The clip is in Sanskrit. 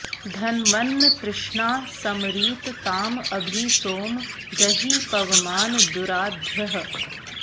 धन्व॒न्न तृष्णा॒ सम॑रीत॒ ताँ अ॒भि सोम॑ ज॒हि प॑वमान दुरा॒ध्यः॑